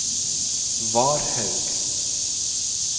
Varhaug